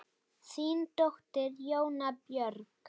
Þín dóttir, Jóna Björg.